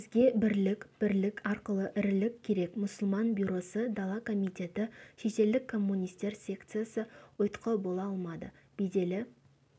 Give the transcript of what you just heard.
бізге бірлік бірлік арқылы ірілік керек мұсылман бюросы дала комитеті шетелдік коммунистер секциясы ұйтқы бола алмады беделі